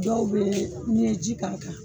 Dɔw bɛ n'i ye ji k'a kan